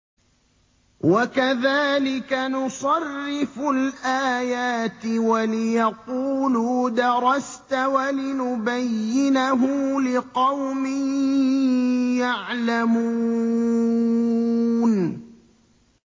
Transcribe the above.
وَكَذَٰلِكَ نُصَرِّفُ الْآيَاتِ وَلِيَقُولُوا دَرَسْتَ وَلِنُبَيِّنَهُ لِقَوْمٍ يَعْلَمُونَ